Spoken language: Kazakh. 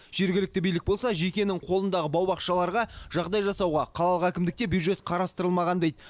жергілікті билік болса жекенің қолындағы бау бақшаларға жағдай жасауға қалалық әкімдікте бюджет қарастырылмаған дейді